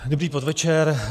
Dobrý podvečer.